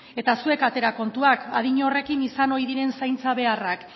eta zuek atera kontuak adin horrekin izan ohi diren zaintza beharrak